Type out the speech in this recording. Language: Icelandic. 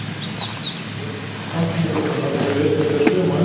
Lögfylgjur samtímastofnunar eru einnig þær sömu og endranær.